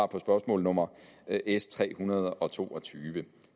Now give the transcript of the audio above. på spørgsmål nummer s tre hundrede og to og tyve